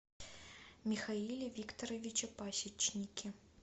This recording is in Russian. михаиле викторовиче пасечнике